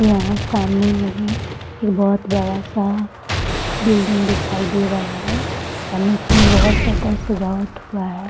यहाँ सामने में ही एक बहुत बड़ा सा बिल्डिंग दिखाई दे रहा है और नीचे में बहुत सुंदर सजावट हुआ है ।